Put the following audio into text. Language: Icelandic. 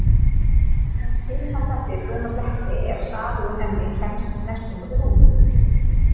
Hún skilur samt eftir brúna bletti ef safi úr henni kemst í snertingu við húð.